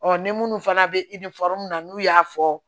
ni minnu fana bɛ na n'u y'a fɔ